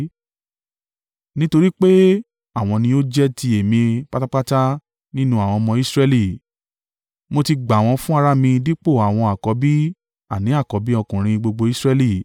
Nítorí pé àwọn ni ó jẹ́ ti Èmi pátápátá nínú àwọn ọmọ Israẹli. Mo ti gbà wọ́n fún ara mi dípò àwọn àkọ́bí àní àkọ́bí ọkùnrin gbogbo Israẹli.